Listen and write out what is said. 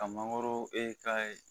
Ka mangoro e k'a ye